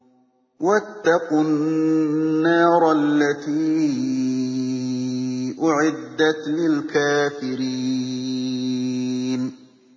وَاتَّقُوا النَّارَ الَّتِي أُعِدَّتْ لِلْكَافِرِينَ